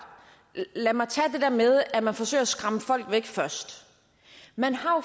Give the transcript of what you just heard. lad mig tage det der med at man forsøger at skræmme folk væk først man har jo